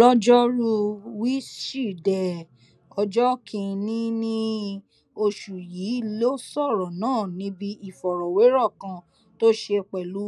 lọjọrùú wíṣídẹẹ ọjọ kìnínní oṣù yìí ló sọrọ náà níbi ìfọrọwérọ kan tó ṣe pẹlú